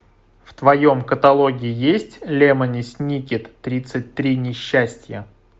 в твоем каталоге есть лемони сникет тридцать три несчастья